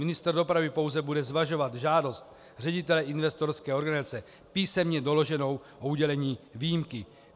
Ministr dopravy pouze bude zvažovat žádost ředitele investorské organizace písemně doloženou o udělení výjimky.